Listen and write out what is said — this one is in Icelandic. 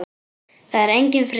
Það er enginn friður!